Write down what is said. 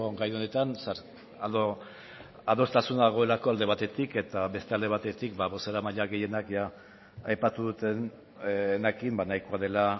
gai honetan adostasuna dagoelako alde batetik eta beste alde batetik bozeramaile gehienak jada aipatu dutenarekin nahikoa dela